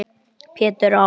Pétur og Ása.